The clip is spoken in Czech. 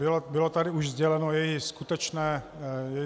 Byla tady už sdělena její skutečná podoba.